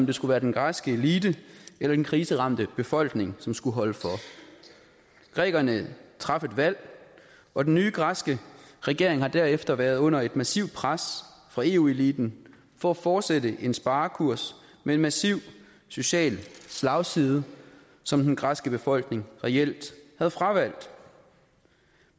det skulle være den græske elite eller den kriseramte befolkning som skulle holde for grækerne traf et valg og den nye græske regering har derefter været under et massivt pres fra eu eliten for at fortsætte en sparekurs med en massiv social slagside som den græske befolkning reelt havde fravalgt